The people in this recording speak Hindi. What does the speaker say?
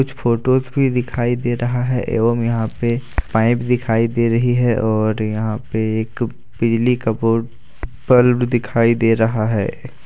फोटोस भी दिखाई दे रहा है एवं यहां पे पाइप दिखाई दे रही है और यहां पे एक पीली कपूर बल्ब दिखाई दे रहा है।